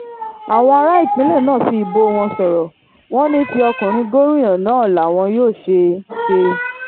àwọn ará ìpínlẹ̀ náà fi ìbò wọn sọ̀rọ̀ wọn ní ti ọkùnrin gómìnà náà làwọn yóò ṣe ṣe